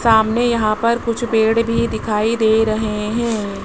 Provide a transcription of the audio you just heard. सामने यहां पर कुछ पेड़ भी दिखाई दे रहे हैं।